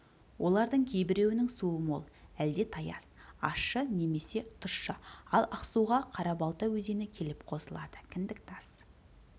олардың кейбіреуінің суы мол әлде таяз ащы немесе тұщы ал ақсуға қарабалта өзені келіп қосылады кіндіктас